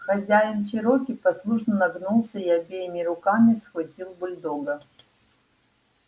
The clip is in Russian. хозяин чероки послушно нагнулся и обеими руками схватил бульдога